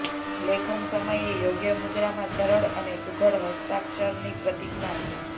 લેખન સમયે યોગ્ય મુદ્રામાં સરળ અને સુઘડ હસ્તાક્ષરની પ્રતિજ્ઞા છે